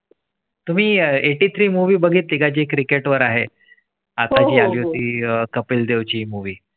. तुव्ही eighty three movie बघितली गाजी Cricket वर आहे. कपिल देव ची मूव्ही